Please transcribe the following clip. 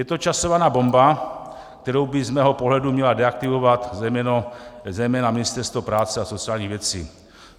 Je to časovaná bomba, kterou by z mého pohledu mělo deaktivovat zejména Ministerstvo práce a sociálních věcí.